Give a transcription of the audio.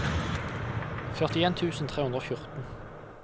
førtien tusen tre hundre og fjorten